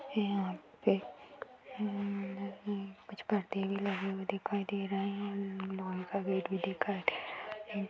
यहाँ पे न कुछ पर्दे भी लगे हुए दिखाई दे रहे हैं। लॉन का गेट भी दिखाई दे रहा। इन --